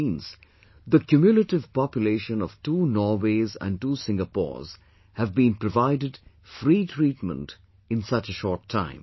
It maens the cumulative population of two Norways and two Singapores have been provided free treatment in such a short time